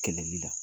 Kɛlɛli la